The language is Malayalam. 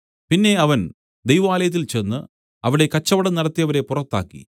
പിന്നെ അവൻ ദൈവാലയത്തിൽ ചെന്ന് അവിടെ കച്ചവടം നടത്തിയവരെ പുറത്താക്കി